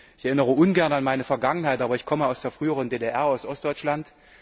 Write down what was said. Ich erinnere ungern an meine Vergangenheit, aber ich komme aus der früheren DDR, aus Ostdeutschland.